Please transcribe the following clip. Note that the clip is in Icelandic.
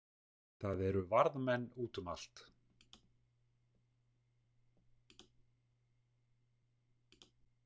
Það eru varðmenn út um allt.